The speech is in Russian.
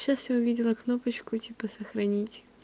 сейчас я увидела кнопочку и типа сохранить